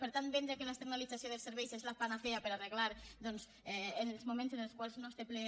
per tant vendre que l’externalització dels serveis és la panacea per a arreglar doncs en els moments en els quals no es té ple